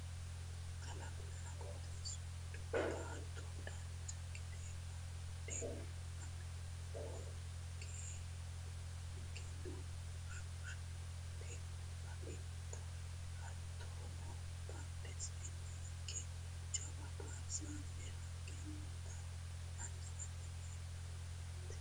kalqunna qooxeessu giddo baatto dancha gede amada hoongeenna hoshsooshante ba'inota hattono badheseenni higge jawa barzaafete haqqe noota anfanni hee'noommo yaate